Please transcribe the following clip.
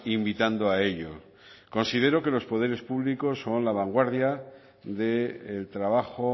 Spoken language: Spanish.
invitando a ello considero que los poderes públicos son la vanguardia del trabajo